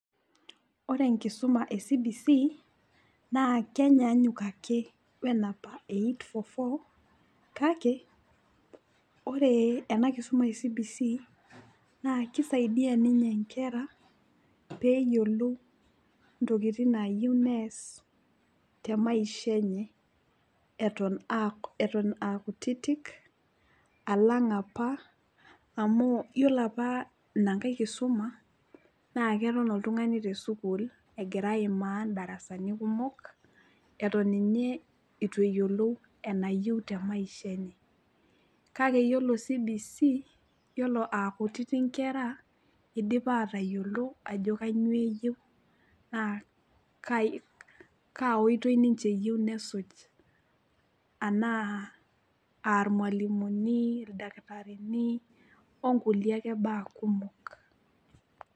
Ore enkisuma e CBC, naa kenyaanyuk ake wenapa e eight-four-four kake, ore ena kisuma e CBC, naa kisaidia ninye nkera peyiolou intokiting nayieu nees temaisha enye eton akutitik, alang' apa amu yiolo apa ina nkae kisuma, na keton oltung'ani tesukuul egira aimaa darasani kumok, eton inye itu eyiolou enayieu temaisha enye. Kake yiolo CBC, yiolo akutiti nkera, idipa atayiolo ajo kanyioo eyieu, na kaa oitoi ninche eyieu nesuj anaa ah irmalimuni, ildakitarini, onkulie ake baa kumok.